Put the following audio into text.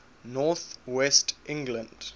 north west england